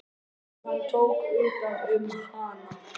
Og hann tók utan um hana.